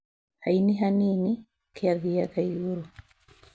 Haini hanini, kiathiaga igũrũ